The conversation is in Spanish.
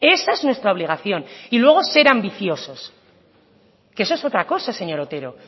esa es nuestra obligación y luego ser ambiciosos que eso es otra cosa señor otero